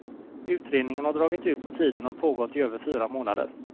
Utredningen har dragit ut på tiden och har pågått i över fyra månader.